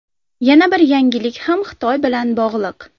Yana bir yangilik ham Xitoy bilan bog‘liq.